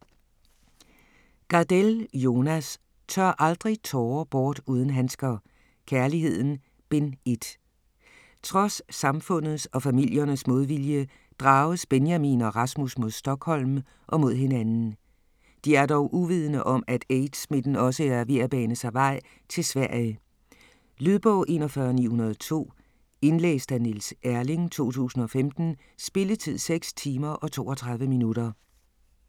Gardell, Jonas: Tør aldrig tårer bort uden handsker: Kærligheden: Bind 1 Trods samfundets og familiernes modvilje drages Benjamin og Rasmus mod Stockholm og mod hinanden. De er dog uvidende om, at AIDS-smitten også er ved at bane sig vej til Sverige. Lydbog 41902 Indlæst af Niels Erling, 2015. Spilletid: 6 timer, 32 minutter.